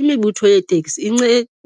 Imibutho yeeteksi